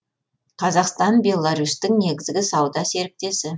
қазақстан беларусьтің негізгі сауда серіктесі